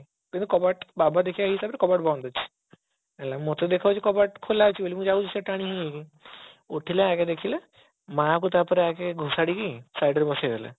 ତ ମୁଁ କବାଟ ବାବା ଦେଖିବା ହିସାବରେ କବାଟ ବନ୍ଦ ଅଛି ଏ ମତେ ଦେଖା ଯାଉଛି କବାଟ ଖୋଲା ଅଛି ବୋଲି ମୁଁ ଯାଉଛି ସିଆଡେ ଟାଣି ହେଇ ହେଇ ଉଠିଲେ ଆଗେ ଦେଖିଲେ ମା କୁ ତାପରେ ଆଗେ ଘୋଷାଡ଼ିକି side ରେ ବସେଇ ଦେଲେ